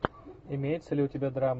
имеется ли у тебя